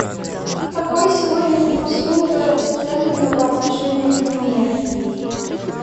какой сегодня курс фунта стерлинга по отношению к тенге